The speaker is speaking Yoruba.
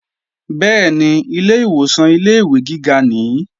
Bẹ́ẹ̀ni, ilè ìwòsàn ilé-ìwé gíga nìí